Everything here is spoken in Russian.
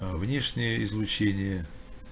аа внешнее излучение